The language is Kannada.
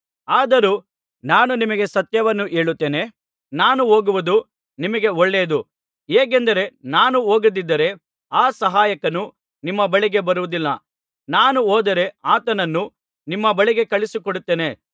ಆದರೂ ನಾನು ನಿಮಗೆ ಸತ್ಯವನ್ನು ಹೇಳುತ್ತೇನೆ ನಾನು ಹೋಗುವುದು ನಿಮಗೆ ಒಳ್ಳೆಯದು ಹೇಗೆಂದರೆ ನಾನು ಹೋಗದಿದ್ದರೆ ಆ ಸಹಾಯಕನು ನಿಮ್ಮ ಬಳಿಗೆ ಬರುವುದಿಲ್ಲ ನಾನು ಹೋದರೆ ಆತನನ್ನು ನಿಮ್ಮ ಬಳಿಗೆ ಕಳುಹಿಸಿಕೊಡುತ್ತೇನೆ